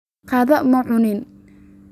Qado ma cunin